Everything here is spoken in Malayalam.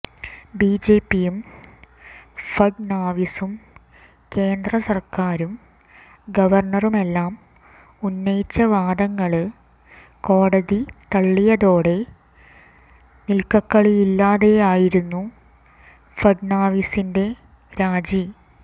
ബിജെപിയും ഫഡ്നാവിസും കേന്ദ്ര സര്ക്കാരും ഗവര്ണറുമെല്ലാം ഉന്നയിച്ച വാദങ്ങള് കോടതി തളളിയതോടെ നില്ക്കകള്ളിയില്ലാതെയായിരുന്നു ഫഡ്നാവിസിന്റെ രാജി